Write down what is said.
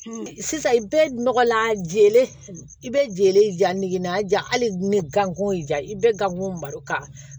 Sisan i bɛ nɔgɔlan jeele i bɛ jɛlen ja nege na ja hali ni gango ja i bɛ gan baro ka